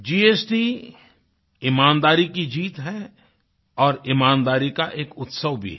GST ईमानदारी की जीत है और ईमानदारी का एक उत्सव भी है